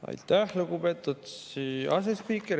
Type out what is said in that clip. Aitäh, lugupeetud asespiiker!